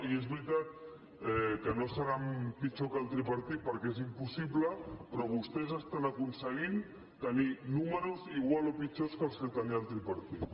i és veritat que no seran pitjor que el tripartit perquè és impossible però vostès estan aconseguint tenir números igual o pitjors que els que tenia el tripartit